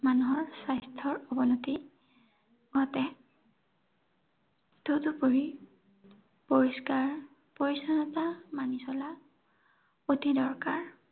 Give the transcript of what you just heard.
মানুহৰ স্বাস্থ্যৰ অৱনতি ঘটে। তদুপৰি পৰিষ্কাৰ পৰিচ্ছন্নতা মানি চলা অতি দৰকাৰ।